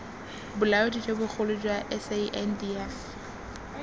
bolaodi jo bogolo jwa sandf